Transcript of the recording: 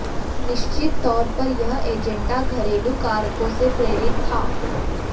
निश्चित तौर पर यह एजेंडा घरेलू कारकों से प्रेरित था